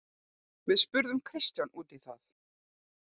Við spurðum Kristján út í það.